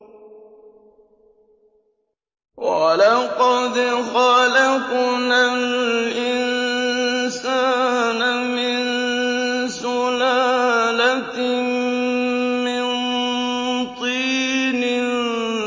وَلَقَدْ خَلَقْنَا الْإِنسَانَ مِن سُلَالَةٍ مِّن طِينٍ